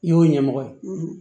I y'o ɲɛmɔgɔ ye